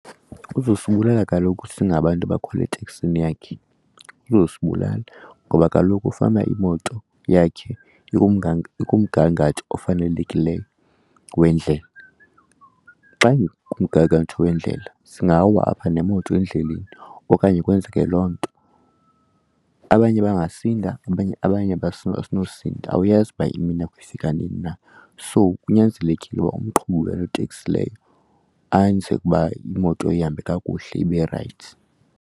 Uzosibulala kaloku singabantu abakhwele eteksini yakhe uzosibulala ngoba fanuba kaloku imito yakhe ikumgangatho ofanelekileyo weendlela. Xa kumgangatho weendlela singawa apha nemoto endleleni okanye kwenzeke loo nto, abanye bangasinda abanye asinosinda awuyazi uba imini yakho ifika nini na. So kunyanzelekile umqhubi waloo teksi leyo anze uba imoto ihambe kakuhle ibe rayithi.